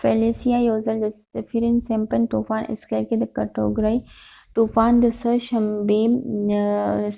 فیلیسیه، یوځل د سیفیر-سمپسن طوفان اسکیل کې د کټګورۍ ۴ طوفان، د